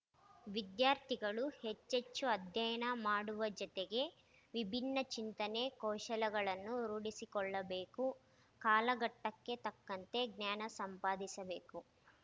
ವಿದ್ಯಾರ್ಥಿಗಳು ಹೆಚ್ಚೆಚ್ಚು ಅಧ್ಯಯನ ಮಾಡುವ ಜತೆಗೆ ವಿಭಿನ್ನ ಚಿಂತನೆ ಕೌಶಲಗಳನ್ನು ರೂಢಿಸಿಕೊಳ್ಳಬೇಕು ಕಾಲಘಟ್ಟಕ್ಕೆ ತಕ್ಕಂತೆ ಜ್ಞಾನ ಸಂಪಾದಿಸಬೇಕು